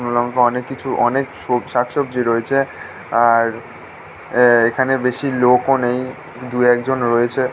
শুকনোলঙ্কা অনেক কিছু অনেক শ শাক সবজি রয়েছে আর আ - এখানে বেশি লোক ও নেই দুএকজন রয়েছে --